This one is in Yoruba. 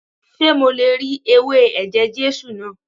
Ṣé mo le ri ewé ẹ̀jẹ̀ Jésù náà?